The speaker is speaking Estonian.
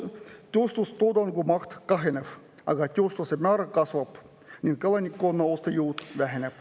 Tööstustoodangu maht kahaneb, töötuse määr kasvab ning elanikkonna ostujõud väheneb.